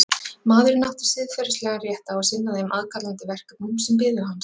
Maðurinn átti siðferðislegan rétt á að sinna þeim aðkallandi verkefnum sem biðu hans.